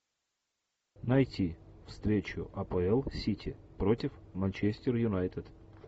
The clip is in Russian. найти встречу апл сити против манчестер юнайтед